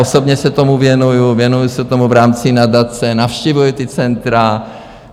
Osobně se tomu věnuji, věnuji se tomu v rámci nadace, navštěvuji ta centra.